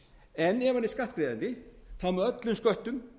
en ef hann er skattgreiðandi og þá með öllum sköttum